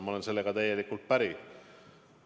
Ma olen sellega täielikult päri.